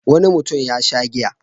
Wani mutum ya sha giya.